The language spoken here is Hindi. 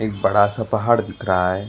एक बड़ा सा पहाड़ दिख रहा है।